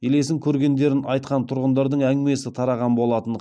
елесін көргендерін айтқан тұрғындардың әңгімесі тараған болатын